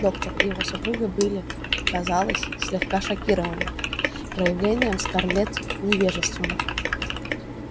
доктор и его супруга были казалось слегка шокированы проявлением скарлетт невежеством